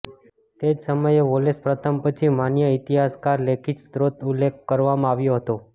તે જ સમયે વોલેસ પ્રથમ પછી માન્ય ઈતિહાસકાર લેખિત સ્ત્રોત ઉલ્લેખ કરવામાં આવ્યો હતો